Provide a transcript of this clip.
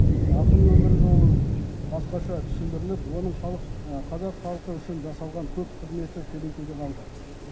ақынның өмір жолы басқаша түсіндіріліп оның қазақ халқы үшін жасаған көп қызметі көлеңкеде қалды